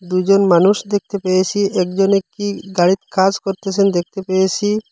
দুইজন মানুষ দেখতে পেয়েসি একজনে কী গাড়ির কাজ করতেসেন দেখতে পেয়েসি ।